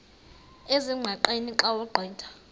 ezingqaqeni xa ugqitha